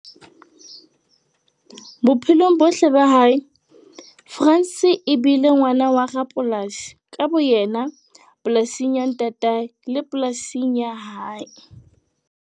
Bophelong bohle ba hae, Frans e bile ngwana wa rapolasi ka boyena polasing ya ntatae le polasing ya hae.